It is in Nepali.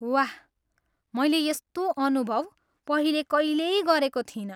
वाह। मैले यस्तो अनुभव पहिले कहिल्यै गरेको थिइनँ।